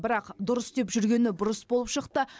бірақ дұрыс деп жүргені бұрыс болып шықты